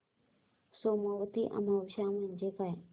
सोमवती अमावस्या म्हणजे काय